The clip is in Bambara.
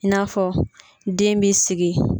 I n'afɔ den b'i sigi.